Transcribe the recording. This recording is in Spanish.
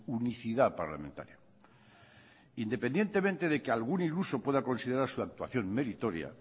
unicidad parlamentaria independientemente de que algún iluso pueda considerar su actuación meritoria